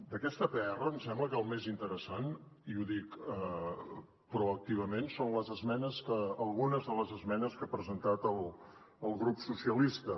d’aquesta pr em sembla que el més interessant i ho dic proactivament són algunes de les esmenes que ha presentat el grup socialistes